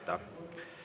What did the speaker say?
Aitäh teile kõigile!